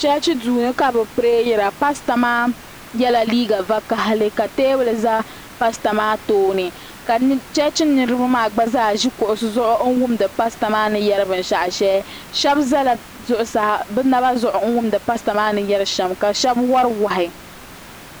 Chechi duu ni ka bɛ pireyira paasita maa yela liiga vakahali ka teebuli za paasita maa tooni ka Chechi niriba maa ʒi kuɣusi zuɣu wumdi paasita maa ni yeri binshaɣu sheli sheba zala zuɣusaa ka bɛ naba zuɣu wumdi paasita maa ni yeri shem ka sheba wari wahi.